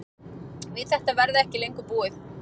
Við þetta verði ekki búið lengur